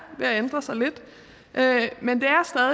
ved at ændre sig lidt men det